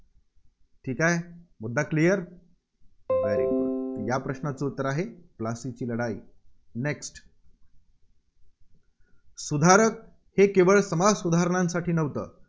ठीक आहे? मुद्दा Clear या प्रश्नाचं उत्तर आहे, प्लासीची लढाई. next सुधारक हे केवळ समाजसुधारणांसाठी नव्हते.